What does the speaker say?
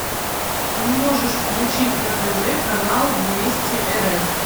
ты можешь включить на тв канал вместе рф